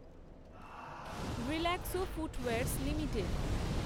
Relaxo footwears limited